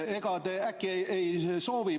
Ega te äkki ei soovi?